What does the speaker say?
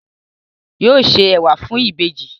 Yóò ṣe ẹwà fún ìbejì